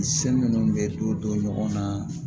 Seli minnu be dɔw don ɲɔgɔn na